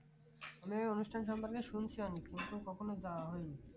আমি এ অনুষ্ঠান সম্পর্কে শুনছি অনেক কিন্তু কখনো যাওয়া হয়নি